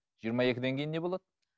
жиырма екіден кейін не болады